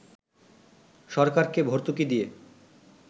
সরকারকে ভর্তুকি দিয়ে